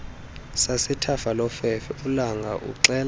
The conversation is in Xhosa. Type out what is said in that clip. sasethafalofefe ulanga uxela